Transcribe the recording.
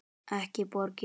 Ekki borgin.